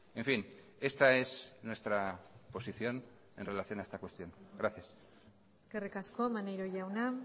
en fin esta es nuestra posición en relación a esta cuestión gracias eskerrik asko maneiro jauna